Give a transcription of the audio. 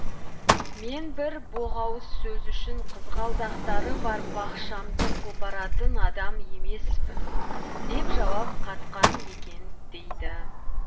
мен бір боғауыз сөз үшін қызғалдақтары бар бақшамды қопаратын адам емеспін деп жауап қатқан екен дейді